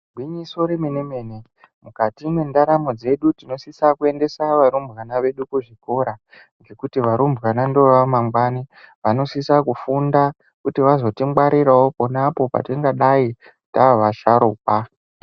Gwinyiso remene mene mukati mendaramo dzedu tinosisa kuendesa varumbwana vedu kuzvikora zvekuti varumbwana ndova mangnwanu vanosisa Kufunda kuti vazongwarirawo pona apo patingadai tavasharikwa.